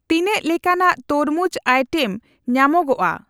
ᱛᱤᱱᱟᱹᱜ ᱞᱮᱠᱟᱱᱟᱜ ᱛᱚᱨᱢᱩᱡ ᱟᱭᱴᱮᱢ ᱧᱟᱢᱚᱜᱚᱠᱼᱟ ?